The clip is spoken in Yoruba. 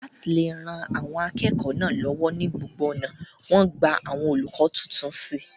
láti le ran àwọn akẹ́kọ̀ọ́ náà lọ́wọ́ ní gbogbo ọ̀nà, wọ́n gba àwọn olùkọ́ tuntun sí i